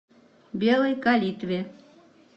белой калитве